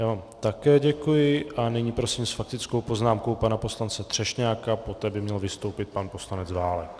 Já vám také děkuji a nyní prosím s faktickou poznámkou pana poslance Třešňáka, poté by měl vystoupit pan poslanec Válek.